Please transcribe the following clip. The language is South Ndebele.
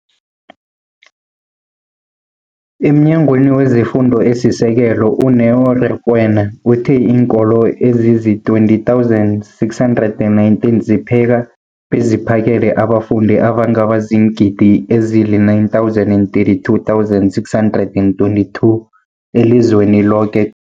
EmNyangweni wezeFundo esiSekelo, u-Neo Rakwena, uthe iinkolo ezizi-20 619 zipheka beziphakele abafundi abangaba ziingidi ezili-9 032 622 elizweni loke